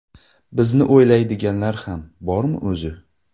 Bizni o‘ylaydiganlar ham bormi o‘zi?